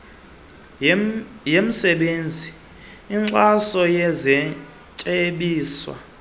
yemisebenzi exhasayo nesetyenziswa